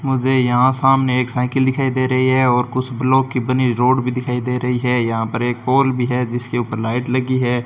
मुझे यहां सामने एक साइकिल दिखाई दे रही है और कुछ ब्लॉक की बनी हुई रोड भी दिखाई दे रही है यहां पर एक पोल भी है जिसके ऊपर लाइट लगी है।